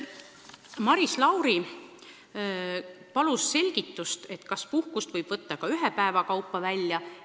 Maris Lauri palus selgitust, kas puhkust võib võtta ka ühe päeva kaupa välja.